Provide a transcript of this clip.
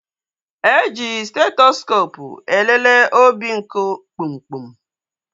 E ji stetoskoopụ elele obinku kpumkpum